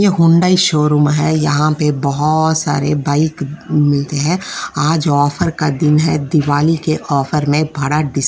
यह Hyundai showroom है यहाँ पर बहुत सारे बाइक मिलते हैं आज ऑफर का दिन है दिवाली के ऑफर में भरा डिस --